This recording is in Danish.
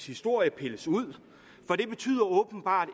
historie pilles ud for det betyder åbenbart